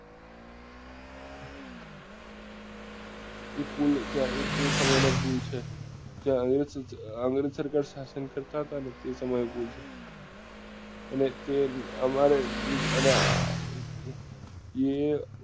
એ pool ત્યાં તે સમય નો pool છે જ્યાં શાશન કરતા હતા ને એ સમય નો pool છે અને તે અમારે એના એ